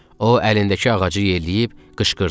O, əlindəki ağacı yelləyib qışqırdı: